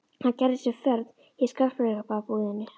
Hann gerði sér ferð í skartgripabúðina.